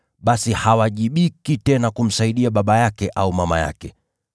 basi hawajibiki tena kumsaidia baba yake au mama yake.